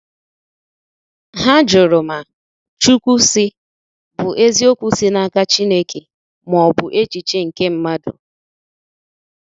Hà jụrụ ma “Chukwu sị” bụ eziokwu si n’aka Chineke ma ọ bụ echiche nke mmadụ.